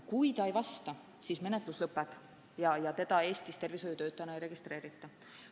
Kui ei vasta, siis menetlus lõpeb ja inimest Eestis tervishoiutöötajana ei registreerita.